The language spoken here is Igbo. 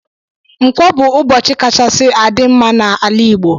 Nkwọ bu ụbọchi kachasi adi mma na ala igbo.